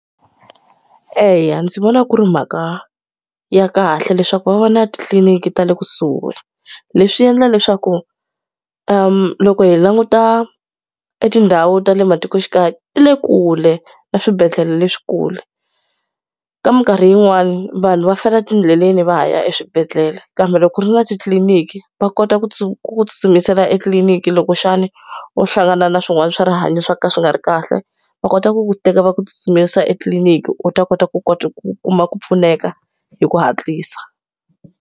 Eya ndzi vona ku ri mhaka ya kahle leswaku va va na titliliniki ta le kusuhi. Leswi endla leswaku loko hi languta etindhawu ta le matikoxikaya ti le kule na swibedhlele leswikulu. Ka minkarhi yin'wani vanhu va fela etindleleni va ha ya eswibedhlele kambe loko ku ri na titliliniki, va kota ku ku ku tsutsumisela etliliniki loko xana u hlangana na swin'wana swa rihanyo swo ka swi nga ri kahle. Va kota ku ku teka va ku tsutsumisela etliliniki u ta kota ku kota ku kuma ku pfuneka hi ku hatlisa.